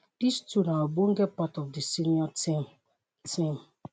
dis two na ogbonge part of di senior team. team.